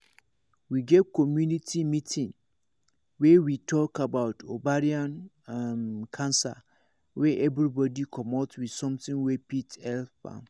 we get community meeting wey we talk about ovarian um cancer wey everybody commot with something wey fit help am